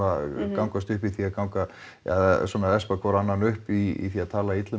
gangast upp í því að ganga eða svona espa hver annan upp í því að tala illa um